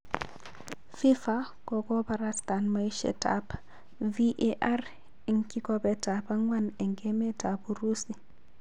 fifa kokoparastan maishet ap VAR eng kikobet ap kwang eng emet ap Urusi.